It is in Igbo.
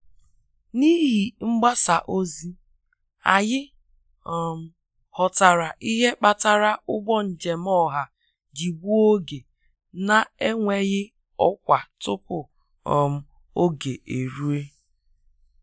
N'ihi mgbasa ozi, anyị um ghọtara ihe kpatara ụgbọ njem ọha ji gbuo oge na-enweghị ọkwa tupu um oge e ruo.